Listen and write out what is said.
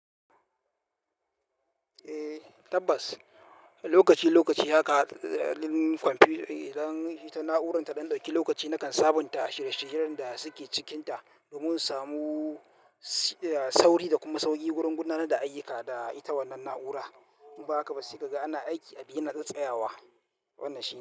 Eh tabbas, lokaci lokaci haka ɗalin kwamfiyut idan na'urarta ɗan ɗauki lokaci nakan sabunta shirye-shiryen da suke cikinta domin in samu sauri da kuma sauƙi wurin gunana da ayyuka da ita wannan na'ura. In ba haka ba sai ka ga ana aiki abu yana tsatsaya wa wannan shi.